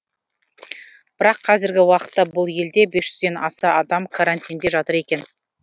бірақ қазіргі уақытта бұл елде бес жүзден аса адам карантинде жатыр екен